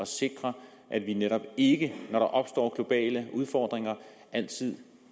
sikre at vi netop ikke når der opstår globale udfordringer altid